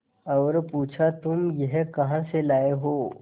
और पुछा तुम यह कहा से लाये हो